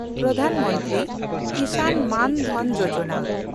Pradhan Mantri Kisan Maan Dhan Yojana